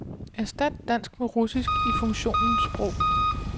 Erstat dansk med russisk i funktionen sprog.